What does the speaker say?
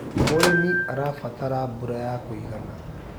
Mũrĩmi arabataraga mbura ya kũigana.